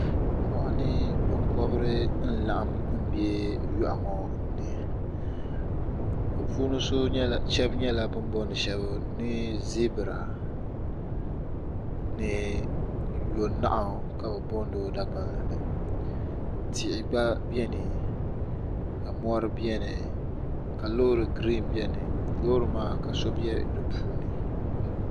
Moɣani binkobri n laɣim m be yoɣu ŋɔ ni bɛ puuni sheba nyɛla bini booni sheba ni zibira ni yonahu ka bɛ booni o dagbanli ni tihi gba biɛni ka mori biɛni ka loori girin biɛni loori maa ka so be dipuuni.